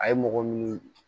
A ye mɔgɔ minnu